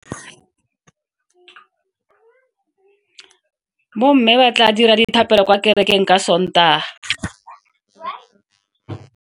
Bomme ba tla dira dithapelo kwa kerekeng ka Sontaga.